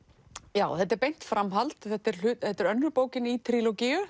já þetta er beint framhald þetta er þetta er önnur bókin í